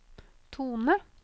tone